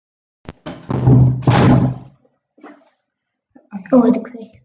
Dyrnar voru enn opnar.